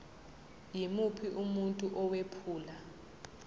yimuphi umuntu owephula